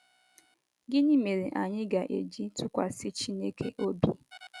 Gịnị mere anyị ga-eji atụkwasị Chineke obi?